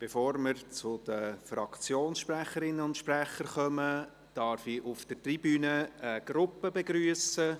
Bevor wir zu den Fraktionssprecherinnen und -sprechern kommen, darf ich auf der Tribüne eine Gruppe begrüssen.